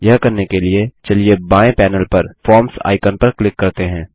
यह करने के लिए चलिए बाएँ पैनेल पर फॉर्म्स आइकन पर क्लिक करते हैं